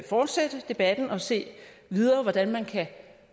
fortsætte debatten og se videre på hvordan man kan